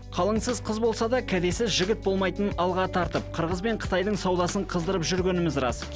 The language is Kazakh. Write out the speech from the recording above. қалыңсыз қыз болса да кәдесіз жігіт болмайтынын алға тартып қырғыз бен қытайдың саудасын қыздырып жүргеніміз рас